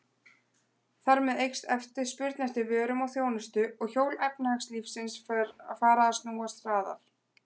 Þar með eykst spurn eftir vörum og þjónustu og hjól efnahagslífsins fara að snúast hraðar.